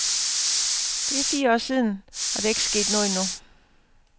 Det er fire år siden, og der er ikke sket noget endnu.